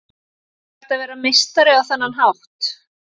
Er hægt að vera meistari á þennan hátt?